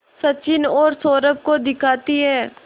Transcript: सचिन और सौरभ को दिखाती है